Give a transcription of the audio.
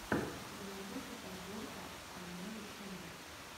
у тебя найдется подборка айноу ченэл